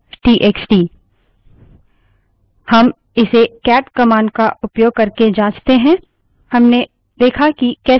हम इसे cat command का उपयोग करके जाँचते हैं